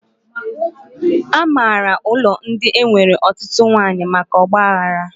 A maara ụlọ ndị nwere ọtụtụ nwaanyị maka ọgba aghara